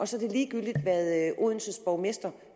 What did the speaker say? så ligegyldigt hvad odenses borgmester